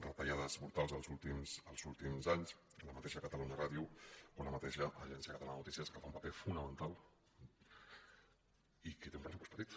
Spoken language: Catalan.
retallades brutals els últims anys la mateixa catalunya ràdio o la mateixa agència catalana de notícies que fa un paper fonamental i que té un pressupost petit